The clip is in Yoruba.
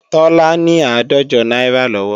Tọ́lá ní àádọ́jọ náírà lọ́wọ́